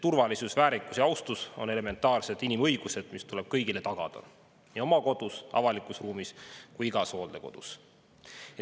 Turvalisus, väärikus ja austus on elementaarsed inimõigused, mis tuleb kõigile tagada nii oma kodus, avalikus ruumis kui igas hooldekodus.